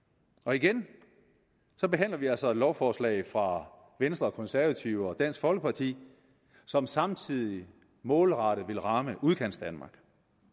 igen behandler vi altså et lovforslag fra venstre konservative og dansk folkeparti som samtidig målrettet vil ramme udkantsdanmark